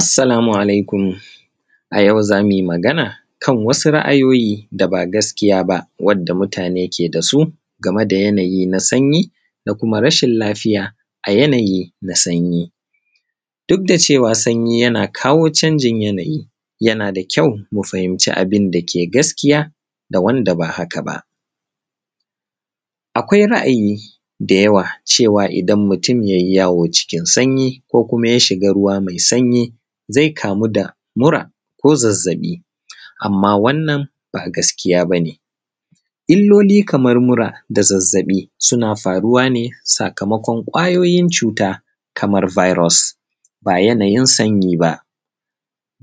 Assalamu alaikum. A yau za mu yi magana kan wasu ra'ayoyi da ba gaskiya ba, wadda mutane ke da su game da yanayi na sanyi da kuma rashin lafiya a yanayi na sanyi. Duk da cewa sanyi yana kawo canjin yanayi, yana da kyau mu fahimci abin da ke gaskiya da wanda ba haka ba. Akwai ra'ayi da yawa cewa, idan mutum ya yi yawo cikin sanyi, ko kuma ya shiga ruwa mai sanyi, zai kamu da mura ko zazzaɓi, amma wannan ba gaskiya ba ne. Illoli kamar mura da zazzaɓi suna faruwa ne sakamakon ƙwayoyin cuta kamar virus, ba yanayin sanyi ba.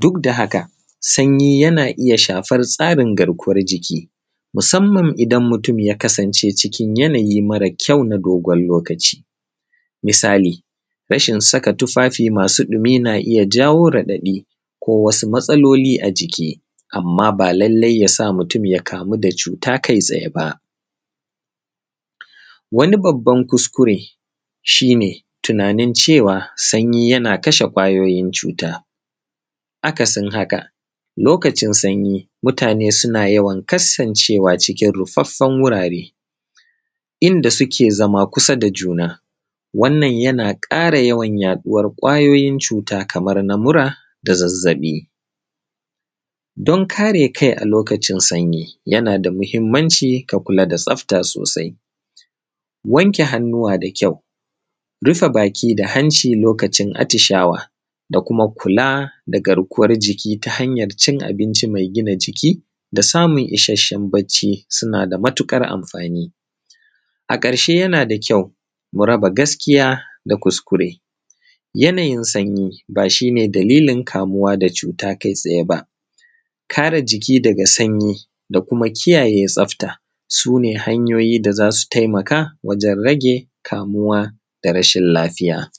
Duk da haka, sanyi yana iya shafar tsarin garkuwar jiki, musamman idan mutum ya kasance cikin yanayi mara kyau na dogon lokaci. Misali, rashin saka tufafi masu ɗumi na iya jawo raɗaɗi, ko wasu matsaloli a jiki, amma ba lallai ya sa mutum ya kamu da cuta kai tsaye ba. Wani babban kuskure, shi ne, tunanin cewa sanyi yana kashe ƙwayoyin cuta. Akasin haka, lokacin sanyi mutane suna yawan kassancewa cikin ruffaffan wurare, inda suke zama kusa da juna. Wannan yana ƙara yawan yaɗuwar ƙwayoyin cuta kamar na mura da zazzaɓi. Don kare kai a lokacin sanyi, yana da muhimmanci ka kula da tsafta sosai, wanke hannuwa da kyau, rufe baki da hanci lokacin atishawa, da kuma kula da garkuwar jiki ta hanyar cin abinci mai gina jiki, da samun isasshen bacci suna da matuƙar amfani. A ƙarshe yana da kyau, mu raba gaskiya da kuskure. Yanayin sanyi, ba shi ne dalilin kamuwa da cuta kai tsaye ba. Kare jiki daga sanyi, da kuma kiyaye tsafta, su ne hanyoyi da za su taimaka wajen rage kamuwa da rashin lafiya.